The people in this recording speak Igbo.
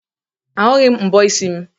Ahụghị m mbọ isi m.